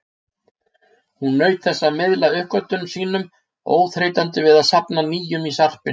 Hún naut þess að miðla uppgötvunum sínum, óþreytandi við að safna nýjum í sarpinn.